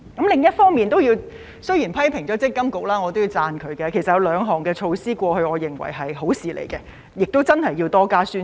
另一方面，雖然批評了積金局，但我也要讚賞它，過去有兩項措施我認為是好事，而且需要多加宣傳。